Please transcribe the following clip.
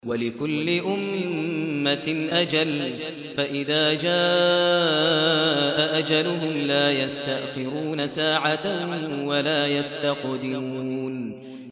وَلِكُلِّ أُمَّةٍ أَجَلٌ ۖ فَإِذَا جَاءَ أَجَلُهُمْ لَا يَسْتَأْخِرُونَ سَاعَةً ۖ وَلَا يَسْتَقْدِمُونَ